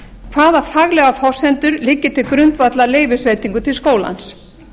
hvaða faglegar forsendur liggja til grundvallar leyfisveitingu til skólans